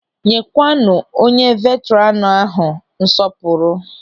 Nyekwanu onye veetranu ahụ nsọpụrụ!